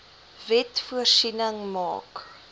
wet voorsiening gemaak